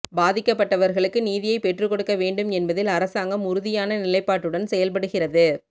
பாதிக்கப்பட்டவர்களுக்கு நீதியைப் பெற்றுக் கொடுக்க வேண்டும் என்பதில் அரசாங்கம் உறுதியான நிலைப்பாட்டுடன் செயல்படுகிறது